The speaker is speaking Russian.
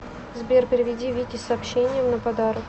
сбер переведи вике с сообщением на подарок